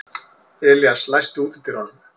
Elías, læstu útidyrunum.